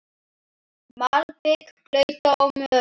Malbik blautt og mölin.